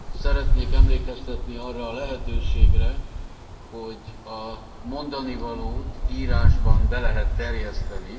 Szeretnék emlékeztetni arra a lehetőségre, hogy a mondanivalót írásban be lehet terjeszteni.